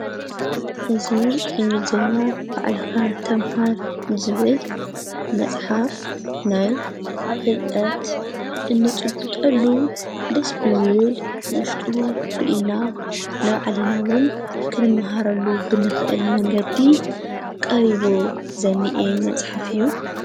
እዝ ኢንግልዜና ብዕልካ ተምሃር ዝብል መጽሓፍ ናይ ፍልጠት እንጭቡጠሉ ድስቢ ዝብል ውሽጡ ርኢና ነብዓሊናውን ክንመሃረሉ ብንኽእል መንገዲ ቀሪቦ ዘኒኤ መጽሓፍ እዩ።